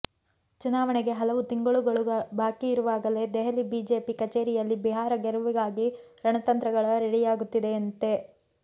ಚುನಾವಣೆಗೆ ಹಲವು ತಿಂಗಳುಗಳು ಬಾಕಿ ಇರುವಾಗಲೇ ದೆಹಲಿ ಬಿಜೆಪಿ ಕಚೇರಿಯಲ್ಲಿ ಬಿಹಾರ ಗೆಲುವಿಗಾಗಿ ರಣತಂತ್ರಗಳ ರೆಡಿಯಾಗುತ್ತಿದೆಯಂತೆ